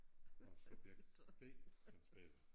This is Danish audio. Og subjekt B Hans Peter